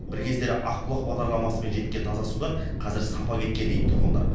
бір кездері ақбұлақ бағдарламасымен жеткен таза судан қазір сапа кеткен дейді тұрғындар